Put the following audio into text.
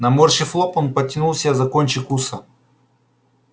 наморщив лоб он потянул себя за кончик уса